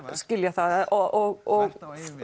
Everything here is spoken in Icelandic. það og